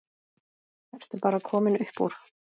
Ertu bara komin upp úr?